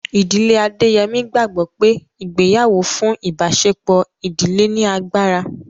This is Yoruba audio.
Ìdílé Adéyẹmí gbàgbọ́ pé ìgbéyàwó fún ìbáṣepọ̀ ìdílé ní agbára